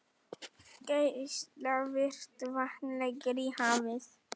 Geislavirkt vatn lekur í hafið